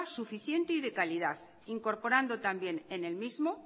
suficiente y de calidad incorporando también en el mismo